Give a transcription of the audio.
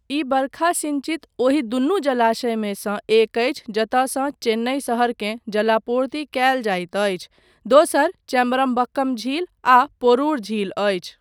ई वर्षा सिञ्चित ओहि दुनू जलाशयमे सँ एक अछि जतयसँ चेन्नई शहरकेँ जलापूर्ति कयल जाइत अछि, दोसर चेम्बरमबक्कम झील आ पोरुर झील अछि।